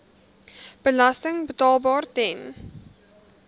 belasting betaalbaar ten